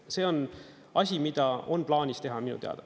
See on asi, mida on plaanis teha minu teada.